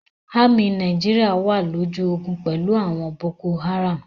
Ámì Nàìjíríà wà lójú ogun pẹ̀lú àwọn Boko-Haram.